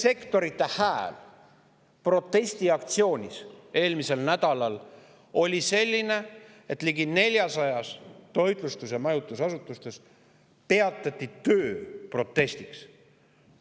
–, protestiaktsioon, kus see sektor oma hääle nii, et ligi 400 toitlustus‑ ja majutusasutuses peatati protestiks töö.